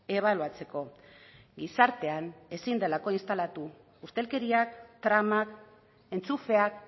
ebaluatzeko gizartean ezin delako instalatu ustelkeriak tramak entxufeak